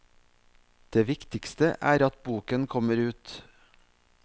Det viktigste er at boken kommer ut.